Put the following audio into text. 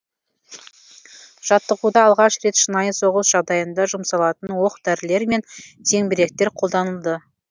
жаттығуда алғаш рет шынайы соғыс жағдайында жұмсалатын оқ дәрілер мен зеңбіректер қолданылды